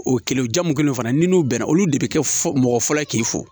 O kɛlen o jamu mun kɛlen o fana ni n'u bɛnna olu de bi kɛ fɔ mɔgɔ fɔlɔ ye k'i fɔ